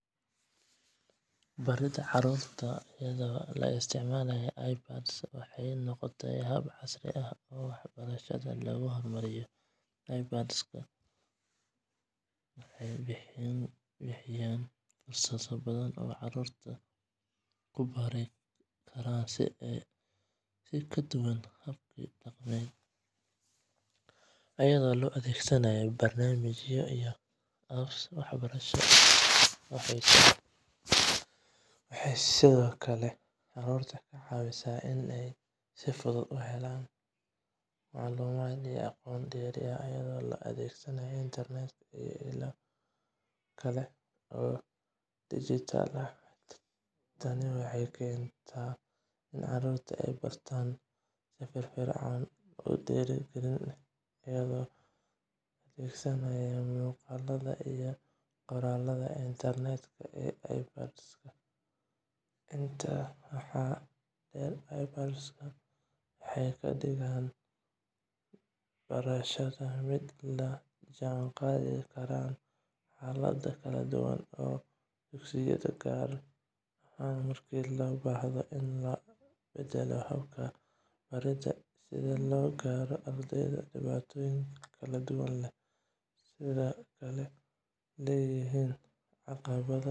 Baridda carruurta iyadoo la isticmaalayo iPadska waxay noqotay hab casri ah oo waxbarashada lagu horumariyo. iPadska waxay bixiyaan fursado badan oo carruurtu ku baran karaan si ka duwan hababka dhaqameed, iyadoo loo adeegsanayo barnaamijyo iyo apps waxbarasho oo xiiso leh. Waxay sidoo kale carruurta ka caawisaa inay si fudud u helaan macluumaad iyo aqoon dheeraad ah, iyadoo la adeegsanayo internetka iyo ilo kale oo dijitaal ah. Tani waxay keentaa in carruurtu ay bartaan si firfircoon oo dhiirrigelin leh, iyagoo adeegsanaya muuqaalada iyo qoraallada interaktiivka ah ee iPadska. Intaa waxaa dheer, iPadska waxay ka dhigaan barashada mid la jaan qaadi karta xaaladaha kala duwan ee dugsiyada, gaar ahaan marka loo baahdo in la beddelo habka baridda si loo gaaro ardayda dhibaatooyinka kala duwan leh. Si kastaba ha ahaatee, isticmaalka iPads wuxuu sidoo kale leeyahay caqabado, sida